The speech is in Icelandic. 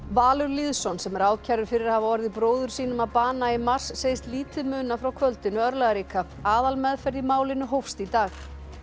Valur Lýðsson sem er ákærður fyrir að hafa orðið bróður sínum að bana í mars segist lítið muna frá kvöldinu örlagaríka aðalmeðferð í málinu hófst í dag